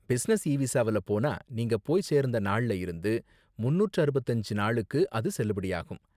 Business e விசாவுல போனா நீங்க போய் சேர்ந்த நாள்ல இருந்து முன்னூற்று அறுபத்தி அஞ்சு நாளுக்கு அது செல்லுபடியாகும்.